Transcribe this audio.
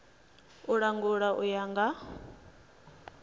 u langula u ya nga